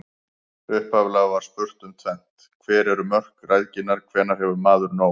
Upphaflega var spurt um tvennt: Hver eru mörk græðginnar, hvenær hefur maður nóg?